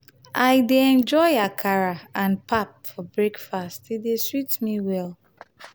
i dey enjoy akara and pap for breakfast; e dey sweet me well.